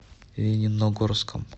лениногорском